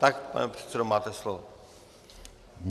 Tak, pane předsedo, máte slovo.